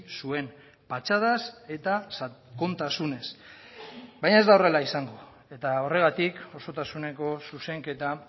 zuen patxadaz eta sakontasunez baina ez da horrela izango eta horregatik osotasuneko zuzenketa